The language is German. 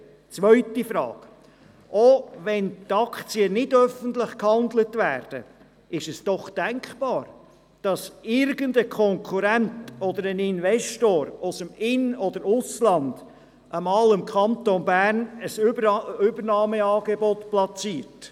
Zweite Frage: Auch wenn die Aktien nicht öffentlich gehandelt werden, ist es doch denkbar, dass irgendein Konkurrent oder ein Investor aus dem In- oder Ausland einmal dem Kanton Bern ein Übernahmeangebot machen könnte.